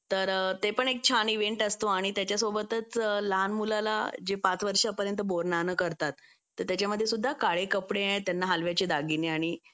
तर ते पण एक छान इव्हेंट असतो आणि त्याच्यासोबतच लहान मुलाला जे पाच वर्षापर्यंत बोर नाणं करतात तर त्याच्यामध्ये सुद्धा काळे कपडे त्यांना हलव्याचे दागिने आणि